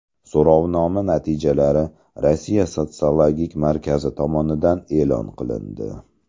So‘rovnoma natijalari Rossiya sotsiologik markazi tomonidan e’lon qilindi.